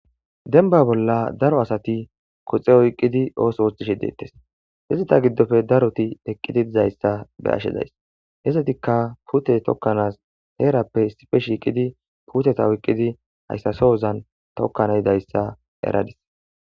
Denba bolla daro asati koxe oyqqidi ooso ooththishe deettes hizita giddofe daroti eqqidi dizayssa be ashe days hessatikka pute tokkanas heerappe sife shiiqidi puteta oyqqidi hayssasohozan tokkana idayssa eradis.